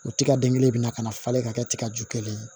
O tiga den kelen bɛ na ka na falen ka kɛ tiga ju kelen